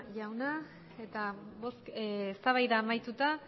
jauna eta eztabaida amaituta